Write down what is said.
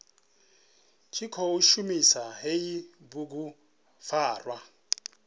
tshi khou shumisa hei bugupfarwa